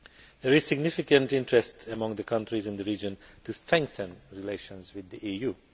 There is significant interest among the countries in the region to strengthen relations with the EU.